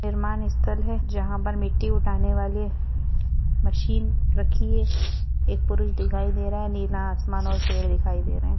जहा पर मिट्ठी उठाने वाले मशीन रखी है। एक पुरुष दिखाई दे रहा है। नीला आसमान और पेड दिखाई दे रहे है।